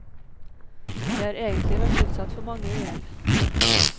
Jeg har egentlig vært utsatt for mange uhell.